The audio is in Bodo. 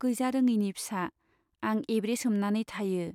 गैजारोङैनि फिसा , आं एब्रेसोमनानै थायो।